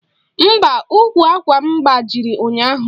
Mba, ụkwụ àkwà m gbajiri ụnyaahụ.